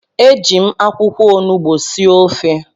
Eji m akwụkwọ onugbu sie ofe